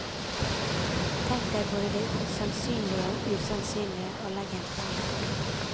Tenk deg både det sannsynlige og usannsynlige, og legg en plan.